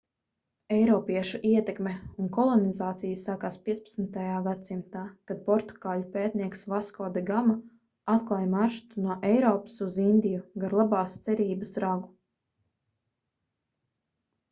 eiropiešu ietekme un kolonizācija sakās 15. gadsimtā kad portugāļu pētnieks vasko de gama atklāja maršrutu no eiropas uz indiju gar labās cerības ragu